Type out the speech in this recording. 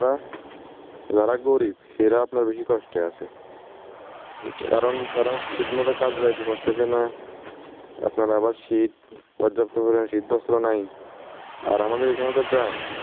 আপনার যারা গরীব হেরা আপনার বেশি কষ্টে আছে অইটা তো কারণ তারা ঠিকমতো কাজে যাইতে পারতেছে না আপনার আবার শীত পর্যাপ্ত পরিমাণ শীত বস্ত্র নাই আর আমাদের এখানে তো গ্রাম ।